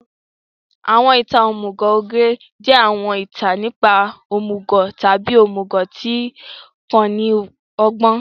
Àwọn ìtàn òmùgọ̀ ogre jẹ́ àwọn ìtàn nípa òmùgọ̀ tàbí òmùgọ̀ tí kò ní ọgbọ́n.